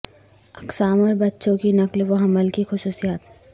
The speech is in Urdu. اقسام اور بچوں کی نقل و حمل کی خصوصیات